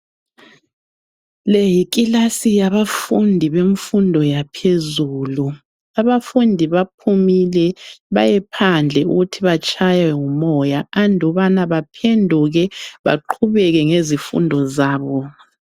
Le yikilasi yabafundi bemfundo yaphezulu. Abafundi baphumile bayephandle ukuthi batshaywe ngumoya andubana baphenduke baqhubeke ngezifundo zabo.